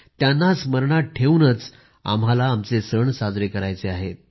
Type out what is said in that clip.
त्यांना स्मरणात ठेवूनच आम्हाला आमचे सण साजरे करायचे आहेत